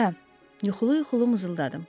Hə, yuxulu-yuxulu mızıldadım.